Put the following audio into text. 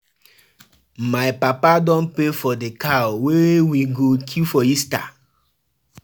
My mama tell me say we go visit my uncle wey dey Spain during the holiday